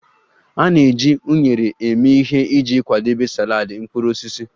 A na-eji unere eme ihe iji kwadebe saladị mkpụrụ osisi